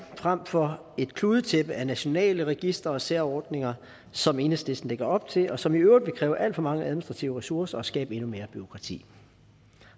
frem for et kludetæppe af nationale registre og særordninger som enhedslisten lægger op til og som i øvrigt vil kræve at for mange administrative ressourcer og skabe endnu mere bureaukrati